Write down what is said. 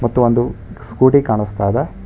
ಮತ್ತು ಒಂದು ಸ್ಕೂಟಿ ಕಾಣಿಸ್ತಾ ಇದೆ.